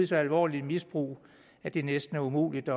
så alvorligt misbrug at det næsten er umuligt at